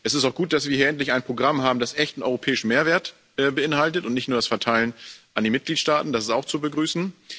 Es ist auch gut, dass wir hier endlich ein Programm haben, das echten europäischen Mehrwert beinhaltet und nicht nur das Verteilen an die Mitgliedstaaten das ist auch zu begrüßen.